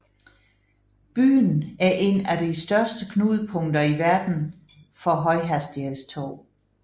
Byen er en af de største knudepunkter i verden for højhastighedstog